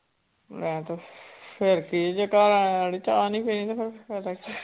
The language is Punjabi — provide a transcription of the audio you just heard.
ਮੈਂ ਤੇ ਫਿਰ ਕੀ ਹੈ ਜੇ ਘਰ ਆਣ ਚਾਹ ਨੀ ਪੀਣੀ ਤੇ ਫਿਰ ਫ਼ਾਇਦਾ ਕੀ।